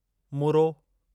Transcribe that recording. मुरो